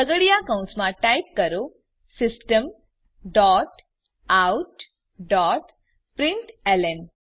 છગડીયા કૌંસમાં ટાઈપ કરો system dot out dot println